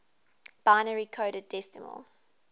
binary coded decimal